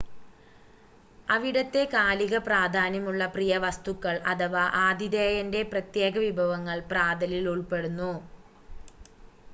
അവിടത്തെ കാലിക പ്രാധാന്യമുള്ള പ്രിയവസ്തുക്കൾ അഥവാ ആതിഥേയൻ്റെ പ്രത്യേക വിഭവങ്ങൾ പ്രാതലിൽ ഉൾപ്പെടുന്നു